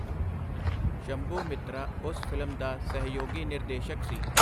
ਸ਼ੰਭੂ ਮਿਤ੍ਰਾ ਉਸ ਫਿਲਮ ਦਾ ਸਹਿਯੋਗੀ ਨਿਰਦੇਸ਼ਕ ਸੀ.